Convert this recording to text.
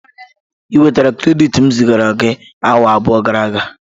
Ị nwetala krediti m zigara gi awa abụọ gara aga?